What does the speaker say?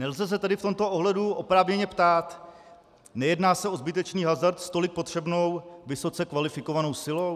Nelze se tedy v tomto ohledu oprávněně ptát: Nejedná se o zbytečný hazard s tolik potřebnou vysoce kvalifikovanou silou?